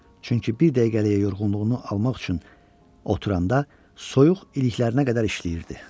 Çünki bir dəqiqəliyə yorğunluğunu almaq üçün oturanda soyuq iliklərinə qədər işləyirdi.